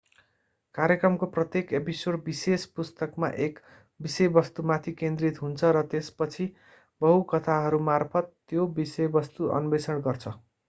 कार्यक्रमको प्रत्येक एपिसोड विशेष पुस्तकमा एक विषयवस्तुमाथि केन्द्रित हुन्छ र त्यसपछि बहु कथाहरूमार्फत त्यो विषयवस्तु अन्वेषण गर्छ